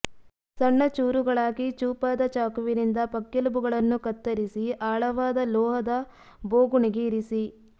ಸಣ್ಣ ಚೂರುಗಳಾಗಿ ಚೂಪಾದ ಚಾಕುವಿನಿಂದ ಪಕ್ಕೆಲುಬುಗಳನ್ನು ಕತ್ತರಿಸಿ ಆಳವಾದ ಲೋಹದ ಬೋಗುಣಿಗೆ ಇರಿಸಿ